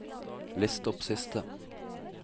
list opp siste